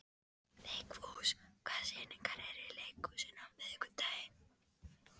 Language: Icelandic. Vigfús, hvaða sýningar eru í leikhúsinu á miðvikudaginn?